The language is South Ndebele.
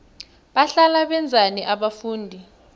bahlala benzani abafundi